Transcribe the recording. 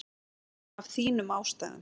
Af þínum ástæðum.